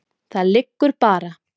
Það liggur bara.